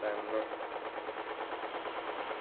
തന്നെ